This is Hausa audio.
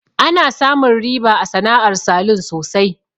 Ana samun riba a sana'ar salun sosai.